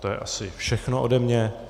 To je asi všechno ode mě.